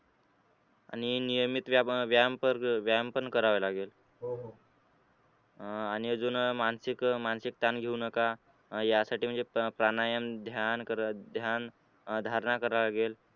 आणि नियमित व्यायाम व्यायाम पण करावा लागेल अह आणि अजून मानसिक मानसिक ताण घेऊ नका अह यासाठी म्हणजे प्राणायाम ध्यान ध्यानधारणा करावा लागेल.